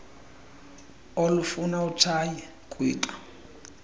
olufuna utshaye kwixa